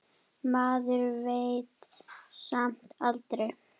Maður veit samt aldrei.